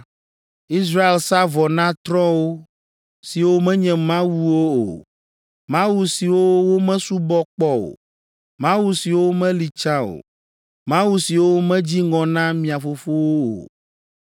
Israel sa vɔ na trɔ̃wo, siwo menye Mawu o mawu siwo womesubɔ kpɔ o, mawu siwo meli tsã o mawu siwo medzi ŋɔ na mia fofowo o.